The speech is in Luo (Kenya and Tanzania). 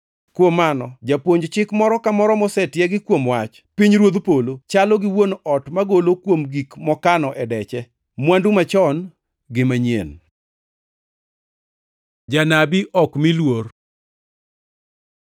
Nowachonegi niya, “Kuom mano japuonj chik moro ka moro mosetiegi kuom wach pinyruodh polo chalo gi wuon ot magolo kuom gik mokano e deche, mwandu machon gi manyien.” Janabi ma ok omi luor